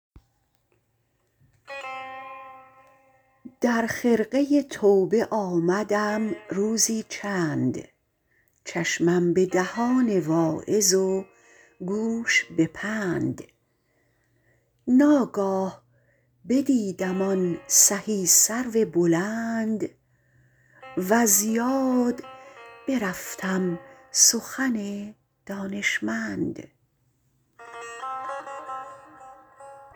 در خرقه توبه آمدم روزی چند چشمم به دهان واعظ و گوش به پند ناگاه بدیدم آن سهی سرو بلند وز یاد برفتم سخن دانشمند